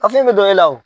Kafe bɛ dɔ e la o